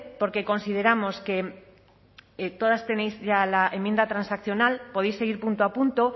porque consideramos que todas tenéis ya la enmienda transaccional podéis seguir punto a punto